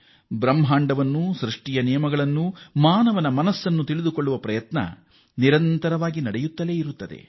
ಬ್ರಹ್ಮಾಂಡವನ್ನೂ ಸೃಷ್ಟಿಯ ನಿಯಮಗಳನ್ನೂ ಮಾನವನ ಮನಸ್ಸನ್ನೂ ತಿಳಿದುಕೊಳ್ಳುವ ಪ್ರಯತ್ನಕ್ಕೆ ಕೊನೆಯೇ ಇರುವುದಿಲ್ಲ